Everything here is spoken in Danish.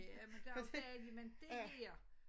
Ja men det også dejligt men dét her